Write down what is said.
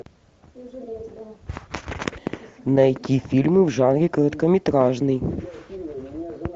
найти фильмы в жанре короткометражный